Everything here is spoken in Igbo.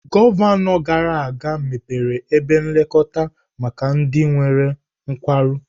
Gọvanọ gara aga mepere ebe nlekọta maka ndị nwere nkwarụ.